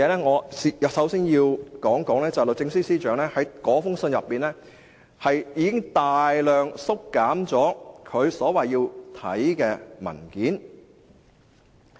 我首先要說，律政司司長在信中已經大量縮減他要看的文件。